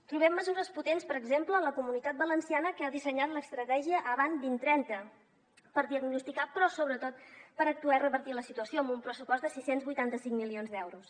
trobem mesures potents per exemple en la comunitat valenciana que ha dissenyat l’estratègia avant dos mil trenta per diagnosticar però sobretot per actuar i revertir la situació amb un pressupost de sis cents i vuitanta cinc milions d’euros